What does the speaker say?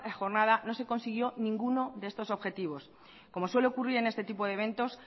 jornada no se consiguió ninguno de estos objetivos como suele ocurrir en este tipo de eventos